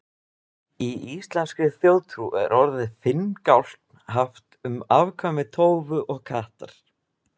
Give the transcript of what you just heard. í íslenskri þjóðtrú er orðið finngálkn haft um afkvæmi tófu og kattar